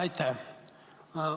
Aitäh!